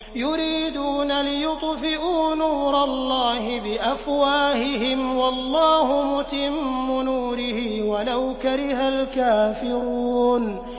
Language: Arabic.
يُرِيدُونَ لِيُطْفِئُوا نُورَ اللَّهِ بِأَفْوَاهِهِمْ وَاللَّهُ مُتِمُّ نُورِهِ وَلَوْ كَرِهَ الْكَافِرُونَ